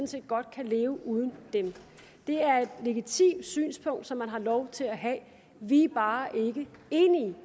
set godt kan leve uden dem det er et legitimt synspunkt som man har lov til at have vi er bare ikke enige